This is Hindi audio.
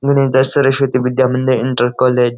Saraswati Vidya Mandir inter college --